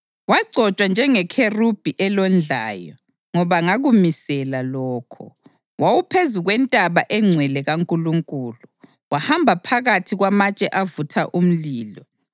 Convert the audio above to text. Wagcotshwa njengekherubhi elondlayo, ngoba ngakumisela lokho. Wawuphezu kwentaba engcwele kaNkulunkulu; wahamba phakathi kwamatshe avutha umlilo.